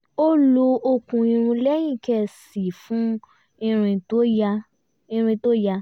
ó lo okùn irun lẹ́yìn ké sí i fún ìrìn tó yá